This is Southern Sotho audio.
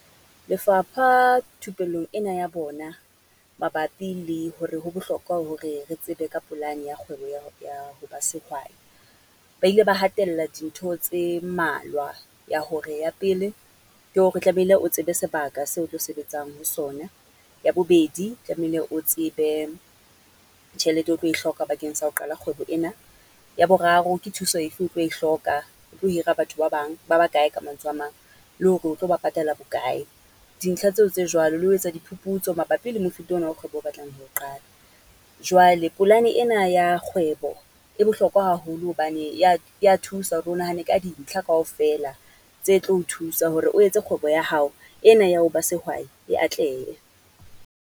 Lefapha thupellong ena ya bona, mabapi le hore ho bohlokwa hore re tsebe ka polane ya kgwebo ya ya ho ba sehwai. Ba ile ba hatella dintho tse mmalwa, ya hore ya pele ke hore tlamehile o tsebe sebaka seo o tlo sebetsang ho sona. Ya bobedi tlamehile o tsebe, tjhelete o tlo e hloka bakeng sa ho qala kgwebo ena. Ya boraro ke thuso efe o tlo e hloka, o tlo hira batho ba bang, ba ba kae ka mantswe a mang? Le hore o tlo ba patala bokae? Dintlha tseo tse jwalo, le ho etsa diphuputso mabapi le mofuta ona wa kgwebo o batlang ho o qala? Jwale polane ena ya kgwebo, e bohlokwa haholo hobane e ya ya thusa hore o nahane ka dintlha kaofela tse tlo o thusa hore o etse kgwebo ya hao ena ya ho ba sehwai, e atlehe.